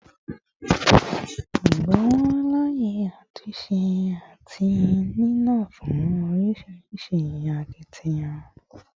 Igbonwo laaye atunse ati nínàá fun orisirisi akitiyan